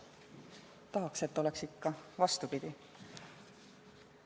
Ma tahan, et oleks ikka vastupidi.